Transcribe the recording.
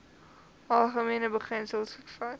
algemene beginsels vervat